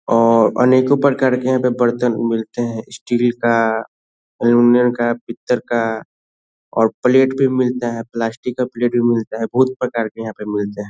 और अनेक प्रकार के बर्तन मिलते है स्टील का अल्मुनियम पीतल का और प्लेट भी मिलता है प्लास्टिक का प्लेट भी मिलता है बहुत प्रकार के यहाँ पे मिलते है ।